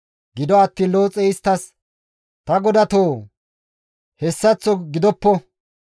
Gido attiin Looxey isttas, «Ta godatoo! Hessaththo gidoppo!